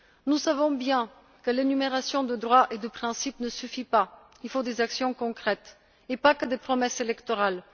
Nous savons bien que l'énumération de droits et de principes ne suffit pas. Il faut des actions concrètes, et pas seulement des promesses électorales.